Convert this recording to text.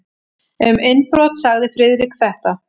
Um innbrot sagði Friðrik þetta: